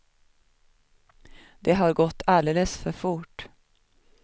Men det har gått alldeles för fort.